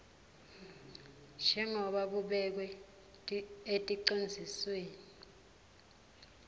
njengoba kubekwe eticondzisweni